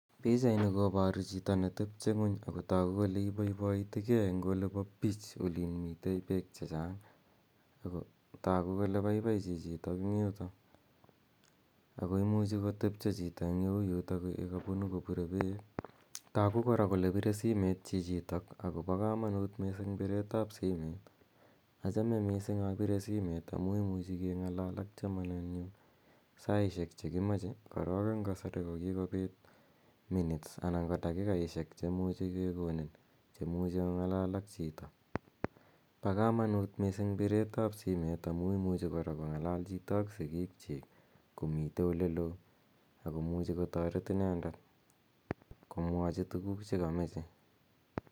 Pichaini koparu chito netepche ng'uny ako tagu kole ibaibaitigei eng' olin po beach olin mitei peek che chang' , ako tagu kole paipai chichitok eng' yutok. Ako muchi kotepche chito eng' ole u yutatayu ye kapunu kopire peek. Tagu kora kole pire set chichitok ako pa kamanut missing' pireet ap simet. Achame missing' apire simet amu imuchi keng'alal ak chamanennyu saishek che ki mache. Korok eng' kasari ko kikopit anan ko dakikaishek che muchi kekonin che muchi ong'alal ak chito. Pa kamanuut missing' kora piret ap simet amu imuch kora kong'alal chito ak sikik chik ko mitei ole loo ako muchi kotaret inendet komwachi tuguuk che kamache.